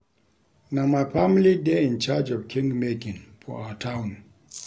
Na my family dey in charge of King making for our Town